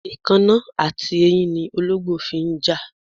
Èkánná àti eyín ni olóǹgbò fi ń jà.